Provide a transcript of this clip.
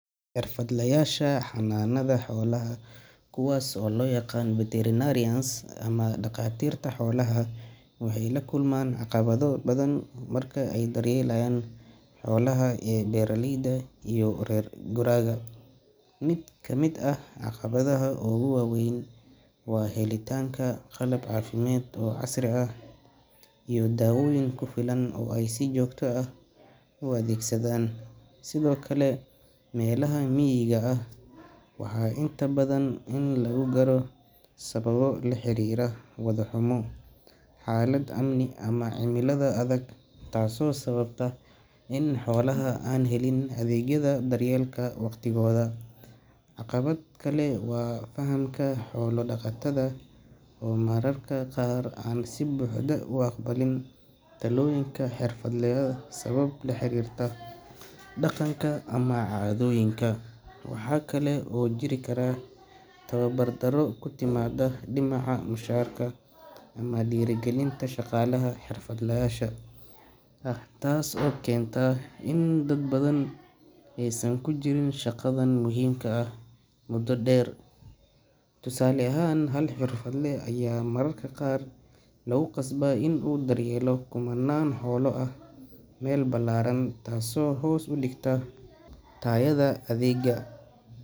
Xirfadlayasha xanaanada xoolaha, kuwaasoo loo yaqaan veterinarians ama dhakhaatiirta xoolaha, waxay la kulmaan caqabado badan marka ay daryeelayaan xoolaha ee beeraleyda iyo reer guuraaga. Mid ka mid ah caqabadaha ugu waaweyn waa helitaanka qalab caafimaad oo casri ah iyo daawooyin ku filan oo ay si joogto ah u adeegsadaan. Sidoo kale, meelaha miyiga ah waxaa inta badan adag in la gaaro sababo la xiriira waddo xumo, xaalad amni ama cimilada adag taasoo sababta in xoolaha aan helin adeegyada daryeelka waqtigooda. Caqabad kale waa fahamka xoolo-dhaqatada oo mararka qaar aan si buuxda u aqbalin talooyinka xirfadleyda sabab la xiriirta dhaqanka ama caadooyinka. Waxaa kale oo jiri kara tabar darro ku timaada dhinaca mushaharka ama dhiirrigelinta shaqaalaha xirfadlayaasha ah, taasoo keenta in dad badan aysan ku sii jirin shaqadan muhiimka ah muddo dheer. Tusaale ahaan, hal xirfadle ayaa mararka qaar lagu qasbaa inuu daryeelo kumanaan xoolo ah meel ballaaran, taasoo hoos u dhigta tayada adeegga.